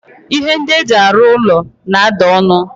Ihe ndi eji aru ulo na-ada onu.